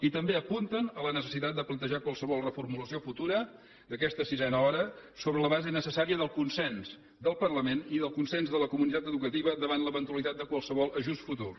i també apunten a la necessitat de plantejar qualsevol reformulació futura d’aquesta sisena hora sobre la base necessària del consens del parla ment i del consens de la comunitat educativa davant l’eventualitat de qualsevol ajust futur